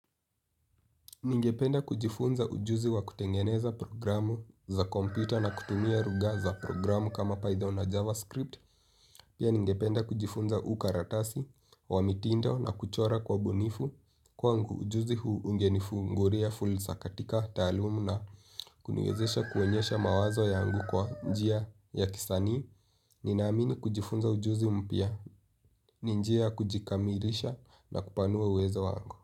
Ningependa kujifunza ujuzi wa kutengeneza programu za kompyuta na kutumia lugha za programu kama Python na JavaScript. Pia ningependa kujifunza ukaratasi wa mitindo na kuchora kwa ubunifu. Kwangu, ujuzi huu ungenifungulia fursa katika taaluma na kuniwezesha kuonyesha mawazo yangu kwa njia ya kisanii. Ninaamini kujifunza ujuzi mpya, ni njia kujikamilisha na kupanua uwezo wangu.